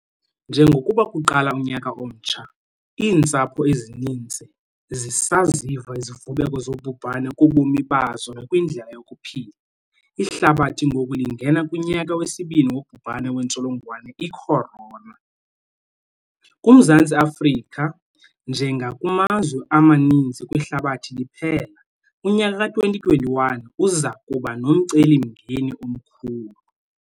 Njengokuba kuqala unyaka omtsha, iintsapho ezininzi zisaziva izivubeko zobhubhane kubomi bazo nakwindlela yokuphila. Ihlabathi ngoku lingena kunyaka wesibini wobhubhane wentsholongwane i-corona. KuMzantsi Afrika, njengakumazwe amaninzi kwihlabathi liphela, unyaka ka-2021 uza kuba nomcelimngeni omkhulu.